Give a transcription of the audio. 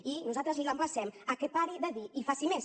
i nosaltres l’emplacem a que pari de dir i faci més